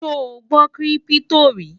sò gbó kírìpitò rí?